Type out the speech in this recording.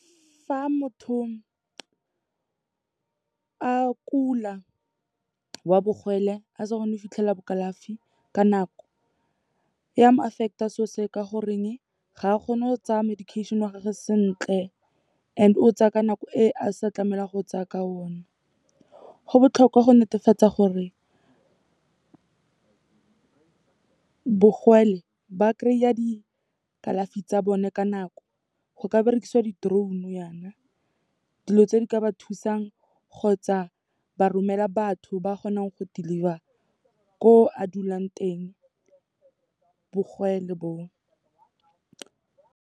Fa motho a kula wa , a sa kgone go fitlhelela bo kalafi ka nako, ya mo affect-a so se o, ka goreng ga a kgone go tsaya medication wa gage sentle and o tsa ka nako e a sa tlamehelang go tsaya ka one. Go botlhokwa go netefatsa gore ba kry-a dikalafi tsa bone ka nako. Go ka berekisiwa di-drone yaana, dilo tse di ka ba thusang kgotsa ba romela batho ba kgonang go deliver ko a dulang teng, bo.